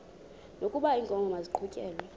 wokaba iinkomo maziqhutyelwe